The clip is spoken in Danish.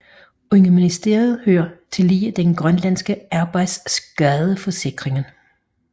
Under ministeriet hører tillige den grønlandske arbejdsskadeforsikring